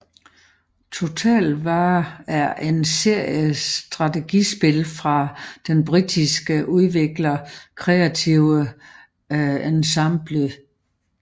Total War er en serie strategispil fra den britiske udvikler Creative Assembly